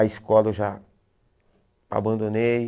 A escola eu já abandonei.